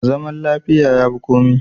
Zaman lafiya ya fi komai.